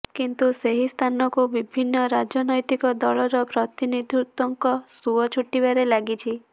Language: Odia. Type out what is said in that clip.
କିନ୍ତୁ ସେହି ସ୍ଥାନକୁ ବିଭିନ୍ନ ରାଜନ୘ତିକ ଦଳର ପ୍ରତିନିଧୃଙ୍କ ସୁଅ ଛୁଟିବାରେ ଲାଗିଛି